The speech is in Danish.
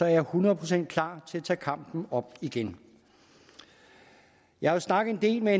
jeg hundrede procent klar til at tage kampen op igen jeg har snakket en del med